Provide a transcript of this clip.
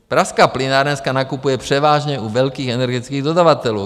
Pražská plynárenská nakupuje převážně u velkých energických dodavatelů.